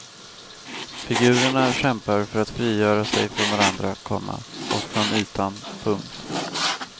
Figurerna kämpar för att frigöra sig från varandra, komma och från ytan. punkt